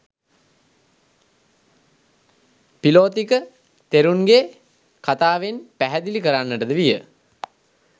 පිළොතික තෙරුන්ගේ කථාවෙන් පැහැදිලි කරන්නට ද විය.